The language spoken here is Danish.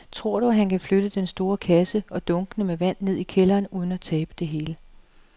Tror du, at han kan flytte den store kasse og dunkene med vand ned i kælderen uden at tabe det hele?